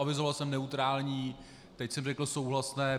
Avizoval jsem neutrální, teď jsem řekl souhlasné.